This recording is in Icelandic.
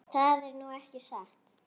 Það er nú ekki satt.